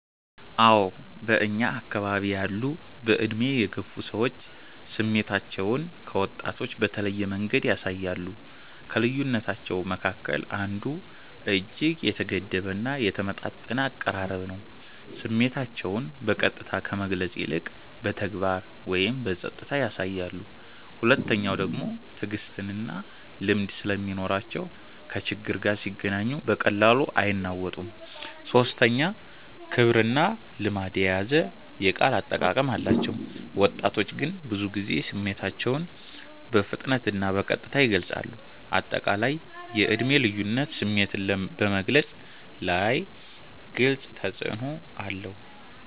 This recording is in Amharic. አዎ በእኛ አከባቢ ያሉ በዕድሜ የገፉ ሰዎች ስሜታቸውን ከወጣቶች በተለየ መንገድ ያሳያሉ። ከልዩነታቸዉ መካከል አንዱ እጅግ የተገደበ እና የተመጣጠነ አቀራረብ ነው፤ ስሜታቸውን በቀጥታ ከመግለጽ ይልቅ በተግባር ወይም በጸጥታ ያሳያሉ። ሁለተኛዉ ደግሞ ትዕግስትና ልምድ ስለሚኖራቸው ከችግር ጋር ሲገናኙ በቀላሉ አይናወጡም። ሶስተኛ ክብርና ልማድ የያዘ የቃል አጠቃቀም አላቸው፤ ወጣቶች ግን ብዙ ጊዜ ስሜታቸውን በፍጥነትና በቀጥታ ይገልጻሉ። አጠቃላይ የዕድሜ ልዩነት ስሜትን በመግለፅ ላይ ግልጽ ተፅዕኖ አለው።